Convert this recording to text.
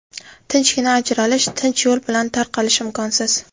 Tinchgina ajralish, tinch yo‘l bilan tarqalish imkonsiz.